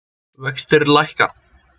Vextir lækka